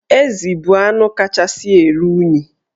Ezi bụ anụ kachasị eru unyi.